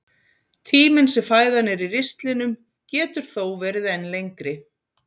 Tíminn sem fæðan er í ristlinum getur þó verið enn lengri.